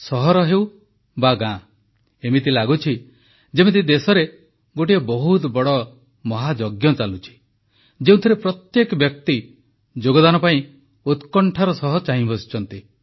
ସହର ହେଉ ବା ଗାଁ ଏମିତି ଲାଗୁଛି ଯେମିତି ଦେଶରେ ଗୋଟିଏ ବହୁତ ବଡ଼ ମହାଯଜ୍ଞ ଚାଲୁଛି ଯେଉଁଥିରେ ପ୍ରତ୍ୟେକ ବ୍ୟକ୍ତି ଯୋଗଦାନ ପାଇଁ ଉତ୍କଣ୍ଠାର ସହ ଚାହିଁ ବସିଛନ୍ତି